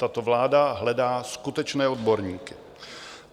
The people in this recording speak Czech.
Tato vláda hledá skutečné odborníky.